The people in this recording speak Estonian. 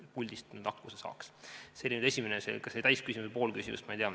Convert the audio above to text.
See oli nüüd esimene vastus, ehkki ma ei tea, kas see oli täis küsimus või pool küsimust.